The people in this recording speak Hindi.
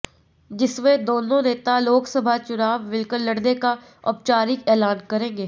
जिसमे दोनों नेता लोकसभा चुनाव मिलकर लड़ने का औपचारिक एलान करेंगे